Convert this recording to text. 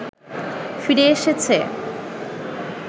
ফিরে এসেছে